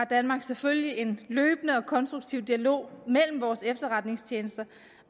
danmark selvfølgelig en løbende og konstruktiv dialog mellem vores efterretningstjenester